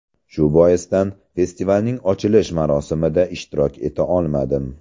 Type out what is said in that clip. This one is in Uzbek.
Shu boisdan festivalning ochilish marosimida ishtirok eta olmadim.